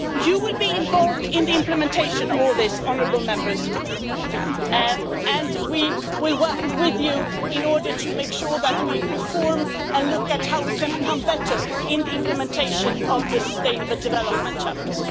Honourable Members will be involved in the implementation of all this, and we will work with you in order to make sure that we reform and look at how we can become better in the implementation of the sustainable development chapter.